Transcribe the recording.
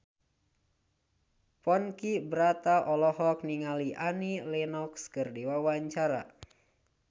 Ponky Brata olohok ningali Annie Lenox keur diwawancara